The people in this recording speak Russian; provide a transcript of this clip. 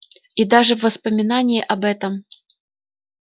и даже воспоминание об этом